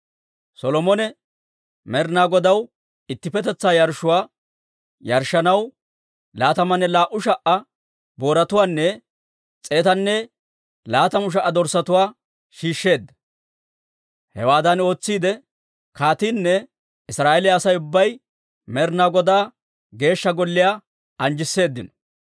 Solomone Med'inaa Godaw ittippetetsaa yarshshuwaa yarshshanaw laatamanne laa"u sha"a booratuwaanne s'eetanne laatamu sha"a dorssatuwaa shiishsheedda. Hewaadan ootsiide kaatiinne Israa'eeliyaa Asay ubbay Med'inaa Godaa Geeshsha Golliyaa anjjisseedino.